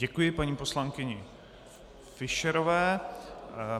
Děkuji paní poslankyni Fischerové.